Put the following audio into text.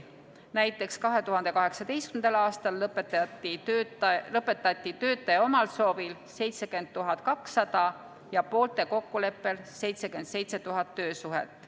Näiteks 2018. aastal lõpetati töötaja omal soovil 70 200 ja poolte kokkuleppel 77 000 töösuhet.